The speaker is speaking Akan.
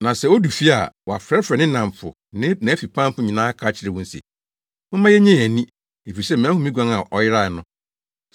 Na sɛ odu fie a, wafrɛfrɛ ne nnamfo ne nʼafipamfo nyinaa aka akyerɛ wɔn se, ‘Momma yennye yɛn ani, efisɛ mahu me guan a ɔyerae no.’